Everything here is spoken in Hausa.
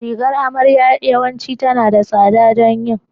Rigar amarya yawanci tana da tsada don yin